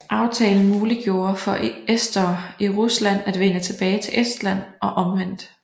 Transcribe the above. Aftalen muliggjorde for estere i Rusland at vende tilbage til Estland og omvendt